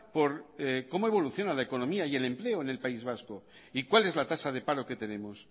por cómo evoluciona la economía y el empleo en el país vasco y cuál es la tasa de paro que tenemos